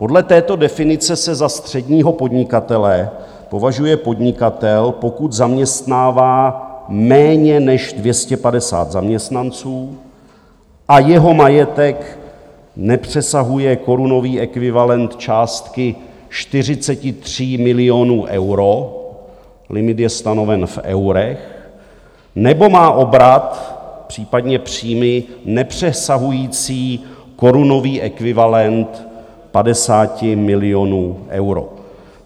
Podle této definice se za středního podnikatele považuje podnikatel, pokud zaměstnává méně než 250 zaměstnanců a jeho majetek nepřesahuje korunový ekvivalent částky 43 milionů euro - limit je stanoven v eurech - nebo má obrat, případně příjmy, nepřesahující korunový ekvivalent 50 milionů euro.